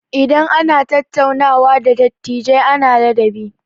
Idan ana tattaunawa da dattijai ana ladabi.